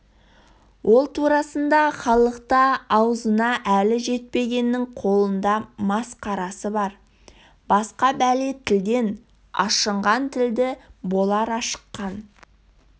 ол турасында халықта аузына әлі жетпегеннің қолында масқарасы бар басқа бәле тілден ашынған тілді болар ашыққан